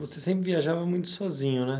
Você sempre viajava muito sozinho, né?